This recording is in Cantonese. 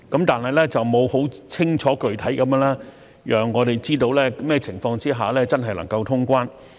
但是，它沒有很清楚具體地讓我們知道甚麼情況下真的能夠通關。